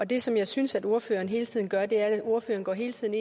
det som jeg synes ordføreren hele tiden gør er at ordføreren hele tiden